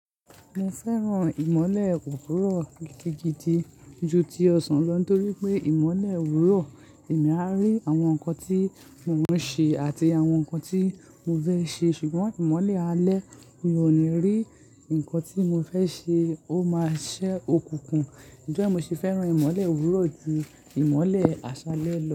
Mo fẹ́ràn ìmọ́lẹ̀ òwúrọ̀ gidi ju ti ọ̀sán lọ nitorí pé ìmọ́lẹ̀ òwúrọ̀, èmi máa rí àwọn nǹkan tí mo ń ṣe àti àwọn nǹkan tí mo fẹ́ ṣe. Ṣùgbọ́n ìmọ́lẹ̀ alẹ́ mi ò ní rí nǹkan tí mo fẹ́ ṣe, ó máa ṣẹ́ okùnkùn. Ǹtori e mo se fẹ́ràn ìmọ́lẹ̀ òwúrọ̀ ju ìmọ́lẹ̀ àṣálẹ́ lọ.